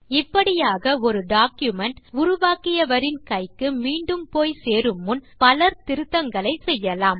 இப்படியாக ஒரு டாக்குமென்ட் உருவாக்கியவரின் கைக்கு மீண்டும் போய் சேரு முன் பலர் திருத்தங்களை செய்யலாம்